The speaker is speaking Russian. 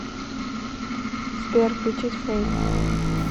сбер включить флэйм